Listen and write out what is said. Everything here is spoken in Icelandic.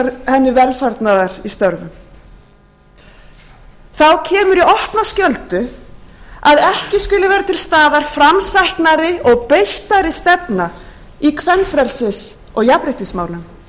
henni velfarnaðar í störfum þá kemur í opna skjöldu að ekki skuli vera tilstaðar framsæknari og beittari stefna í kvenfrelsis og jafnréttismálum hvar eru afgerandi aðgerðir gegn kynbundnu ofbeldi vændi og